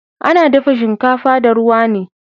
Ana dafa shinkafa da ruwa ne